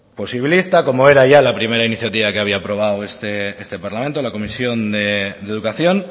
posibilista como era ya la primera iniciativa que había aprobado este parlamento en la comisión de educación